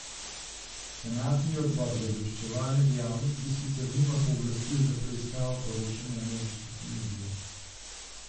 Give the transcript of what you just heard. Senatni odbor za obveščevalne dejavnosti sicer nima pooblastil za preiskavo poročanja ameriških medijev.